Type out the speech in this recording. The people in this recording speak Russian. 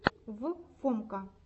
в фомка